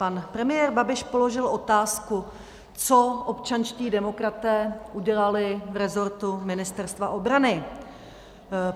Pan premiér Babiš položil otázku, co občanští demokraté udělali v resortu Ministerstva obrany.